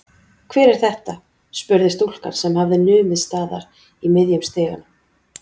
Hver er þetta? spurði stúlkan sem hafði numið staðar í miðjum stiganum.